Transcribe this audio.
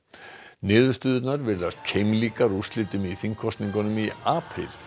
niðurstöðurnar virðast keimlíkar úrslitum í þingkosningum í apríl